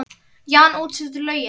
Jan útsetur lögin.